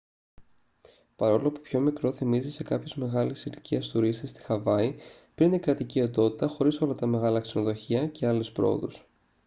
παρόλο που πιο μικρό θυμίζει σε κάποιους μεγάλης ηλικίας τουρίστες τη χαβάη πριν την κρατική οντότητα χωρίς όλα τα μεγάλα ξενοδοχεία και άλλες προόδους